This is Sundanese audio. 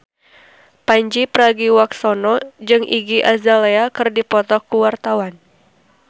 Pandji Pragiwaksono jeung Iggy Azalea keur dipoto ku wartawan